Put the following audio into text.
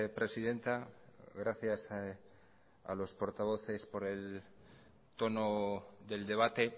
presidenta gracias a los portavoces por el tono del debate